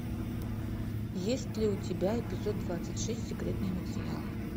есть ли у тебя эпизод двадцать шесть секретные материалы